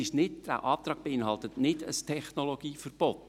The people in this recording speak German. Dieser Antrag beinhaltet kein Technologieverbot;